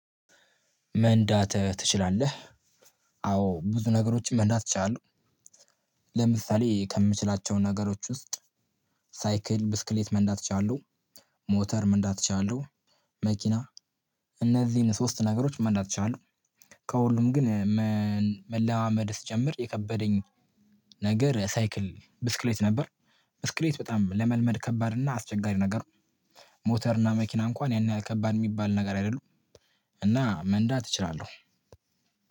መንዳት ትችላለህ? አዎ ብዙ ነገሮችን መንዳት እችላለህ። ለምሳሌ ከምችላቸው ነገሮች ውስጥ ሳይክል ብስክሌት መንዳት እችላለሁ። ሞተር መንዳት እችላለሁ። መኪና እነዚህን ሶስት ነገሮች መንዳት እችላለሁ። ከሁሉም ግን መለማመድ ስትጀምር የከበደኝ ነገር ሳይክል ብስክሌት ነበር። ብስክሌት በጣም ለመልመድ ከባድ እና አስቸጋሪ ነገር። ሞተር እና መኪና እንኳን ያን ያህል ከባድ የሚባል ነገር አይደሉም። እና መንዳት እችላለሁ።